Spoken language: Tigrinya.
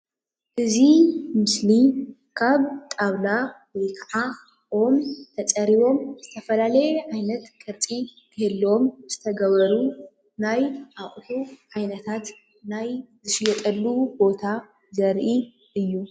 እዚ ምስሊ ካብ ጣዉላ ወይ ከዓ ኦም ተፀሪቦም ዝተፈላለዩ ዓይነት ቅርፂ ክህልዎም ዝተገበሩ ናይ ኣቁሑ ዓይነታት ናይ ዝሽየጠሉ ቦታ ዘርኢ እዩ።